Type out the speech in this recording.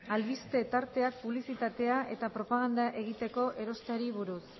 albiste tarteak publizitatea eta propaganda egiteko erosteari buruz